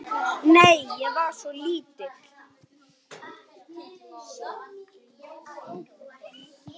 Nei, ég var svo lítil.